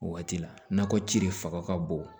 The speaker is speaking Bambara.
O waati la nakɔ ci de fanga ka bon